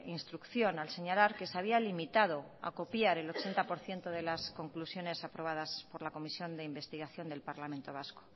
instrucción al señalar que se había limitado a copiar el ochenta por ciento delas conclusiones aprobadas por la comisión de investigación del parlamento vasco